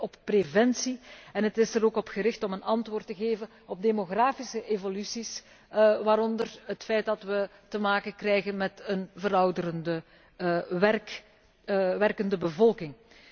Het is gericht op preventie en het is er ook op gericht om een antwoord te geven op demografische evoluties, waaronder het feit dat wij te maken krijgen met een verouderende werkende bevolking.